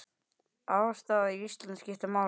Afstaða Íslands skiptir máli.